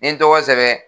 N ye n tɔgɔ sɛbɛn